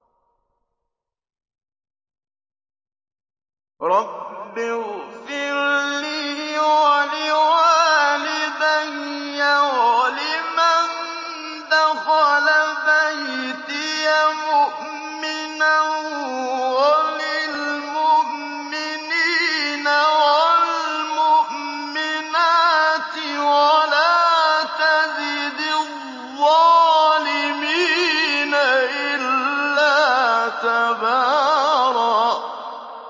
رَّبِّ اغْفِرْ لِي وَلِوَالِدَيَّ وَلِمَن دَخَلَ بَيْتِيَ مُؤْمِنًا وَلِلْمُؤْمِنِينَ وَالْمُؤْمِنَاتِ وَلَا تَزِدِ الظَّالِمِينَ إِلَّا تَبَارًا